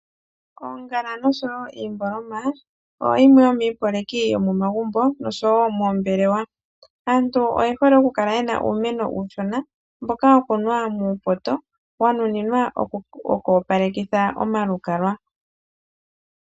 Oongala noshowo iimboloma oyo yimwe yomiiyopaleki yomomagumbo noshowo moombelewa. Aantu oye hole okukala yena uumeno uushona mboka wakunwa muupoto wanuninwa oku opalekitha omalukalwa.